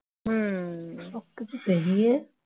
कुछ कहिए